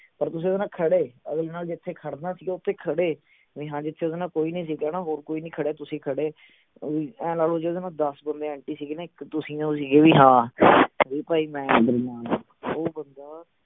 ਪਰ ਤੁਸੀਂ ਓਹਦੇ ਨਾਲ ਖੜੇ ਅਗਲੇ ਨਾਲ ਜਿਥੇ ਖੜਨਾ ਸੀ ਓਥੇ ਖੜੇ ਵੀ ਹਾਂ ਜਿਥੇ ਓਹਦੇ ਨਾਲ ਕੋਈ ਨਹੀਂ ਸੀ ਗਾ ਨਾ ਹੋਰ ਕੋਈ ਨਹੀਂ ਖੜਾ ਤੁਸੀਂ ਖੜੇ ਅਮ ਆਏਂ ਲਾ ਲਓ ਜਿਹੜੇ ਨਾਲ ਦੱਸ ਬੰਦੇ anti ਸੀ ਗੇ ਇਕ ਤੁਸੀਂ ਹੋ ਹੀ ਸੀ ਗੇ ਵੀ ਹਾਂ ਵੀ ਭਾਈ ਮੈਂ ਤੇਰੇ ਨਾਲ ਆ ਉਹ ਬੰਦਾ